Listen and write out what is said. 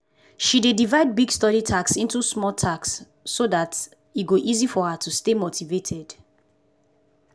she dey divide big study task into small small task so day e go easy for her to stay motivated.